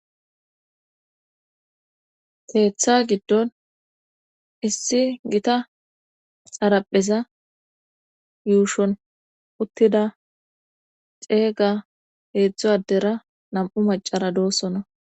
teetha giddon issi gita xarapheza yuushon uttida ceega heedzdzo adera nam7u macara doossona